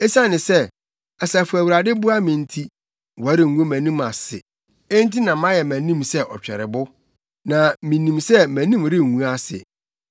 Esiane sɛ, Asafo Awurade boa me nti, wɔrengu mʼanim ase. Enti na mayɛ mʼanim sɛ ɔtwɛrebo, na minim sɛ mʼanim rengu ase.